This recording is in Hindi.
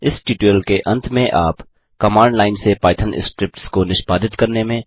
इस ट्यूटोरियल के अंत में आप कमांड लाइन से पाइथन स्क्रिप्ट्स को निष्पादित करने में